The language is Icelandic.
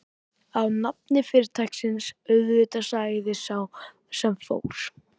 Á nafni fyrirtækisins, auðvitað sagði sá sem fór.